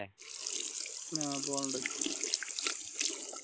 ആഹ് Poland